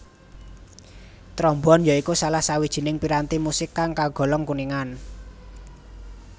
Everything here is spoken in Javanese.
Trombon ya iku salah sawijining piranti musik kang kagolong kuningan